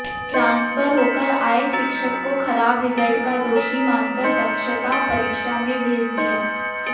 transfer होकर आए शिक्षक को खराब रिजल्ट का दोषी मानकर दक्षता परीक्षा में भेज दिया